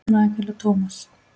Rakel og Thomas.